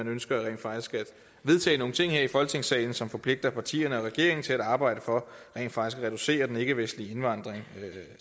ønsker at vedtage nogle ting i folketingssalen som forpligter partierne og regeringen til at arbejde for at reducere den ikkevestlige indvandring